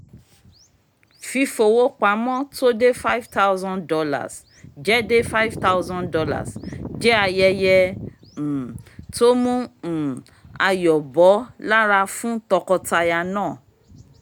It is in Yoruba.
fífowó pamọ́ tó dé $ five thousand jẹ́ dé $ five thousand jẹ́ ayẹyẹ um tó mu um ayọ̀ bọ́ lára fún tọkọtaya náà